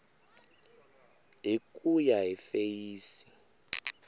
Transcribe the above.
hi ku ya hi feyisi